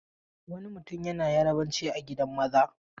Wani mutum yana Yarabanci a gidan maza.